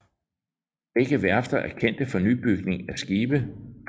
Begge værfter er kendte for nybygning af skibe